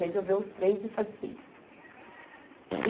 Resolver os três e fazer isso.